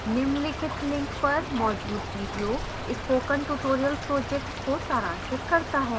निम्नलिखित link पर मौजूद video spoken tutorial project को सारांशित करता है